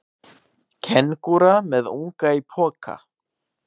Kengúra með unga í poka.